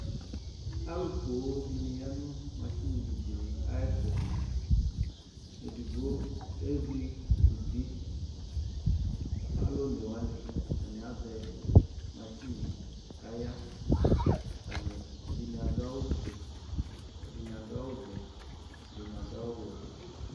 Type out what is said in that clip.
Alʋ poo dɩnɩ ya nʋ masin dɩnɩ ayɛtʋ Edigbo ezikuti, alʋ one wanɩ atanɩ azɛ masin nɩ kʋ aya Atanɩ, ɛdɩnɩ adʋ awʋfue, ɛdɩnɩ adʋ awʋvɛ, ɛdɩnɩ adʋ awʋwɛ